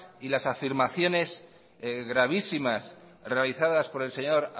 y las afirmaciones gravísimas realizadas por el señor